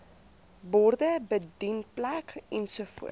borde bedienplek ensovoorts